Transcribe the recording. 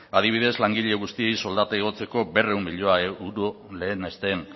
adibidez langile guztiei soldata igotzeko berrehun milioi euro lehenesten